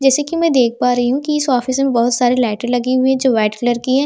जैसे कि मैं देख पा रही हूं कि इस ऑफिस में बहुत सारे लाइटें लगी हुई है जो वाइट कलर की है.